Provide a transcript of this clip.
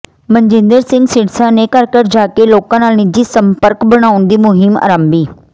ਮਨਜਿੰਦਰ ਸਿਰਸਾ ਨੇ ਘਰ ਘਰ ਜਾ ਕੇ ਲੋਕਾਂ ਨਾਲ ਨਿੱਜੀ ਸੰਪਰਕ ਬਣਾਉਣ ਦੀ ਮੁਹਿੰਮ ਆਰੰਭੀ